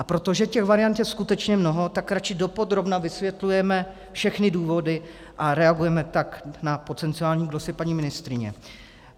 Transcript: A protože těch variant je skutečně mnoho, tak radši dopodrobna vysvětlujeme všechny důvodů a reagujeme tak na potenciální glosy paní ministryně.